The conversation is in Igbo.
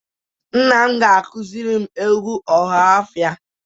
Nna m akuziri m egwu ohafia